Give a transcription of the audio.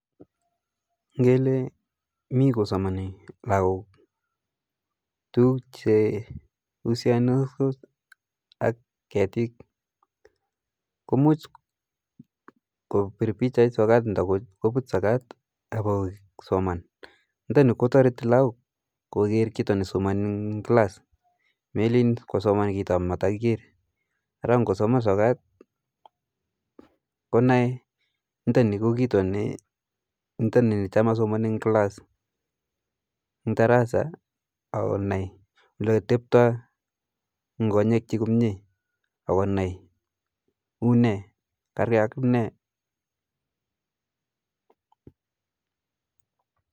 Ngele mi kosomani lakok tukuk che usianasko ak ketit muj kopir pichait sokat nda put sokat ako soman, nitani kotoriti lakok koker kito nesomani eng class melin kosam kito atameiker ara ngosoma sokat konae ntani ko kito ni cham asomani eng class eng darasa ako nai ole teptai eng konyek chi komye ako un karke ak ne